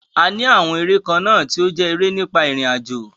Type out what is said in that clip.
A ní àwọn eré kan náà tí ó jẹ́ eré nípa irinajo.